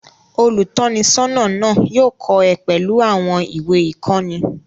Olùtọ́nisọ́nà náà yóò kọ́ ẹ pẹ̀lú àwọn ìwé-ìkọ́ni.